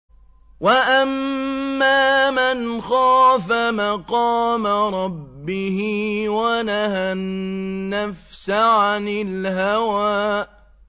وَأَمَّا مَنْ خَافَ مَقَامَ رَبِّهِ وَنَهَى النَّفْسَ عَنِ الْهَوَىٰ